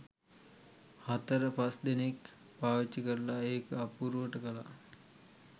හතර පස් දෙනෙක් පාවිච්චි කරලා එක අපුරුවට කළා